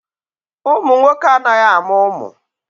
Ụmụ nwoke anaghị amụ ụmụ.